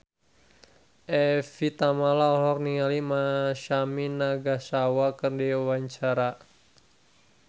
Evie Tamala olohok ningali Masami Nagasawa keur diwawancara